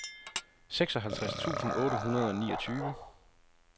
seksoghalvtreds tusind otte hundrede og niogtyve